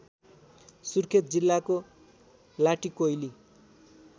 सुर्खेत जिल्लाको लाटिकोइली